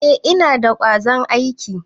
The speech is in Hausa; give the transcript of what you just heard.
Eh, Ina da kwazon aiki.